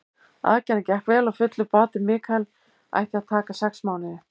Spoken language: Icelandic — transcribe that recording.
Aðgerðin gekk vel og fullur bati Michael ætti að taka sex mánuði.